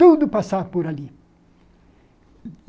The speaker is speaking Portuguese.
Tudo passava por ali.